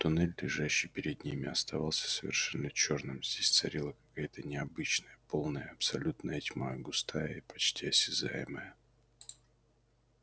туннель лежащий перед ними оставался совершенно чёрным здесь царила какая-то необычная полная абсолютная тьма густая и почти осязаемая